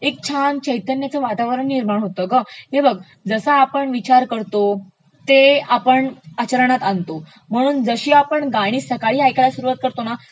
एक छान चैतन्यचं वातावरण निर्माण होतं ग, हे बध जसा आपण विचार करतो ते आपण आचरणात आणतो म्हणून जशी आपण गाणी सकाळी ऐकायला सुरुवात करतो ना